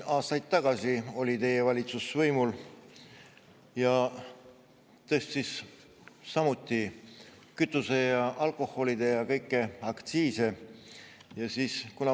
Aastaid tagasi oli teie valitsus võimul ja tõstis samuti kütuse-, alkoholi- ja kõiki aktsiise.